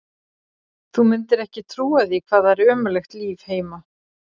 Þú mundir ekki trúa því hvað það er ömurlegt líf heima.